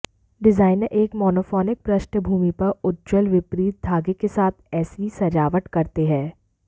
designer एक monophonic पृष्ठभूमि पर उज्ज्वल विपरीत धागे के साथ ऐसी सजावट करते हैं